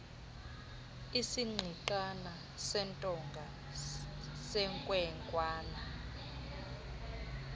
isigqigqana sentonga senkwenkwana